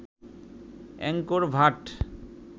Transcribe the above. Angkor Bhatt